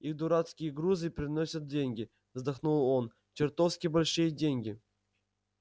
их дурацкие грузы приносят деньги вздохнул он чертовски большие деньги